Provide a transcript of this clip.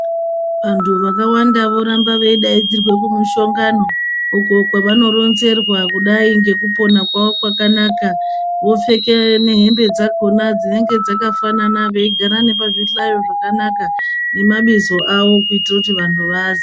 Vantu vakawanda voramba veidaidzirwe kumushongano uko kwavanoronzerwa kudai ngekupona kwawo kwakanaka vopfeke nehembe dzakona dzinenge dzakafanana veigara nepazvhihlayo zvakanaka nemabizo awo kuitire kuti vanhu vaaziye.